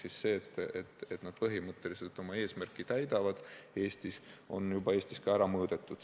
Seega see, et nad põhimõtteliselt oma eesmärki täidavad, on juba Eestis ka ära mõõdetud.